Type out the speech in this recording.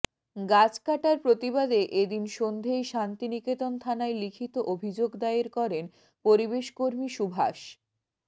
গাছ কাটার প্রতিবাদে এ দিন সন্ধেয় শান্তিনিকেতন থানায় লিখিত অভিযোগ দায়ের করেন পরিবেশকর্মী সুভাষ